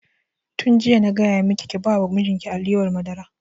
Tun jiya na gaya maki ki ba wa mijin ki alewar madara!